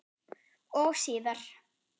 Og síðar.